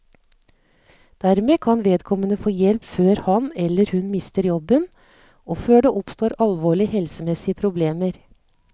Dermed kan vedkommende få hjelp før han, eller hun, mister jobben og før det oppstår alvorlige helsemessige problemer.